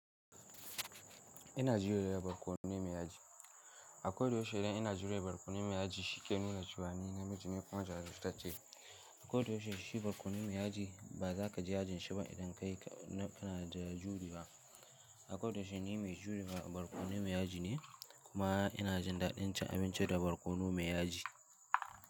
Ina juyowa barkono mai yaji. Akwai da yaushe idan ina juyowa barkono mai yaji, shi ke nuna cewa ni namiji ne kwan jarin sata ce. Akwai da yaushe shi barkono mai yaji ba za ka ji ajin shi ba idan kai na ana da juriya. Akwai da yaushe ni mai juriya barkono mai yaji ne kuma ina jin daɗin cin abinci da barkono mai yaji.